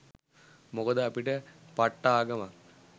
මොකද අපිට පට්ට ආගමක්